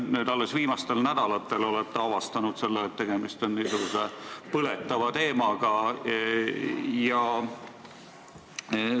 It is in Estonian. Kas te alles viimastel nädalatel olete avastanud, et tegemist on niisuguse põletava teemaga?